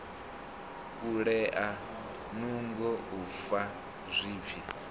kulea nungo u fa zwipfi